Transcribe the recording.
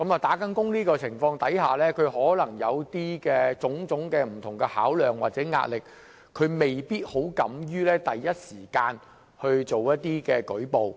在這種情況下，她們可能有種種不同的考量或壓力，未必敢於第一時間作出舉報。